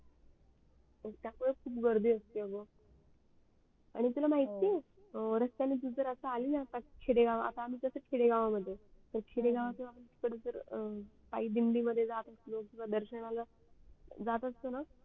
त्यावेडेस खूप गर्दी असते ग आणि तुला माहिती आहे रस्त्यान तू जर आली ना खेडे गाव आता आम्ही कस आता खेडे गावा मध्ये आहे तर खेडेगावच कस दिंडी वगरे जात असलं किवा दर्शनाला जात असत ना